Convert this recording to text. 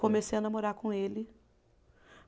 Comecei a namorar com ele.